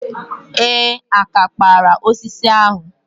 Ee, àkà kpara osisi ahụ.